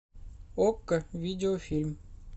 окко видеофильм